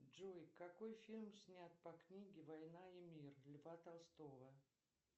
джой какой фильм снят по книге война и мир льва толстого